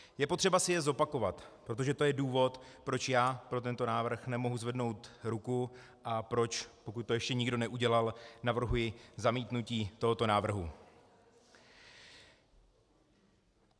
Je potřeba si je zopakovat, protože to je důvod, proč já pro tento návrh nemohu zvednout ruku a proč, pokud to ještě nikdo neudělal, navrhuji zamítnutí tohoto návrhu.